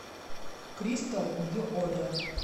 кристал нью одэ